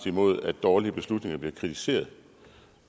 imod at dårlige beslutninger bliver kritiseret